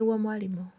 nĩguo mwarimũ